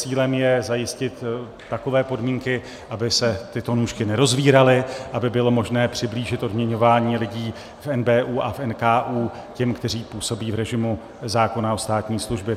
Cílem je zajistit takové podmínky, aby se tyto nůžky nerozvíraly, aby bylo možné přiblížit odměňování lidí v NBÚ a v NKÚ těm, kteří působí v režimu zákona o státní službě.